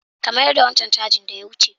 Ka mayars da wancan changin da ya wuce!